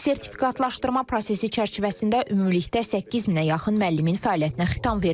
Sertifikatlaşdırma prosesi çərçivəsində ümumilikdə 8000-ə yaxın müəllimin fəaliyyətinə xitam verilib.